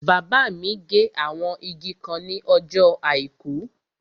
Bàbá mi gé àwọn igi kan ní ọjọ́ àìkú